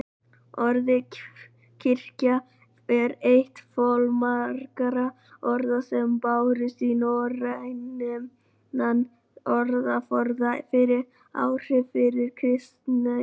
Orðið kirkja er eitt fjölmargra orða sem bárust í norrænan orðaforða fyrir áhrif frá kristni.